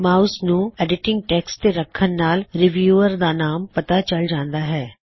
mouse ਨੂੰ edited text ਤੇ ਰੱਖਣ ਨਾਲ ਰੀਵਿਊਅਰ ਦਾ ਨਾਮ ਪਤਾ ਚਲ ਜਾਂਦਾ ਹੈ